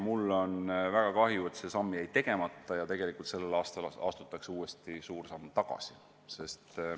Mul on väga kahju, et see samm jäi tegemata ja tegelikult tänavu astutakse suur samm tagasi.